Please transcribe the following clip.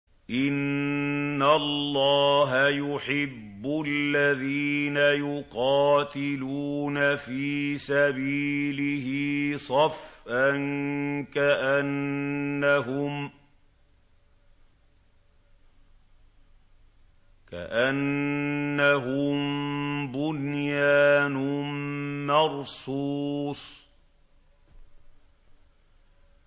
إِنَّ اللَّهَ يُحِبُّ الَّذِينَ يُقَاتِلُونَ فِي سَبِيلِهِ صَفًّا كَأَنَّهُم بُنْيَانٌ مَّرْصُوصٌ